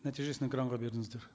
нәтижесін экранға беріңіздер